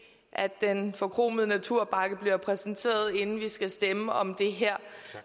at den forkromede naturpakke bliver præsenteret inden vi skal stemme om det her